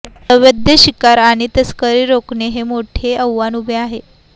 अवैध शिकार आणि तस्करी रोखणे हे मोठे आव्हान उभे आहे